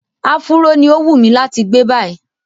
Áfúró ní ó wùnmí láti gbé báyìí.